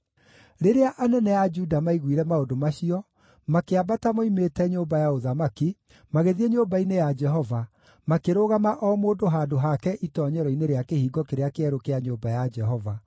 Rĩrĩa anene a Juda maaiguire maũndũ macio, makĩambata moimĩte nyũmba ya ũthamaki, magĩthiĩ nyũmba-inĩ ya Jehova, makĩrũgama o mũndũ handũ hake itoonyero-inĩ rĩa Kĩhingo kĩrĩa Kĩerũ kĩa nyũmba ya Jehova.